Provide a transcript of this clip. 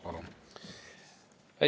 Palun!